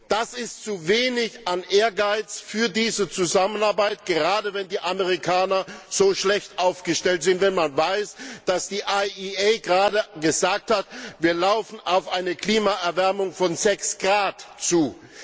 Das ist zu wenig an Ehrgeiz für diese Zusammenarbeit, gerade wenn die Amerikaner so schlecht aufgestellt sind, wenn man weiß, dass die IEA gerade gesagt hat, wir steuern auf eine Klimaerwärmung von sechs Grad zu.